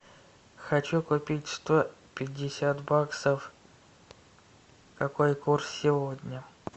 хочу купить сто пятьдесят баксов какой курс сегодня